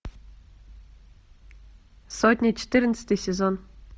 сотня четырнадцатый сезон